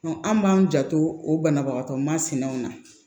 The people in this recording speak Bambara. an b'an janto o banabagatɔ masinaw na